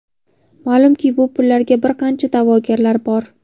Ma’lumki, bu pullarga bir qancha da’vogarlar bor.